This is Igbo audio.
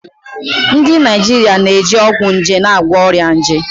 Ndị Naijiria ga na-eji ọgwụ nje na-agwọ ọrịa nje.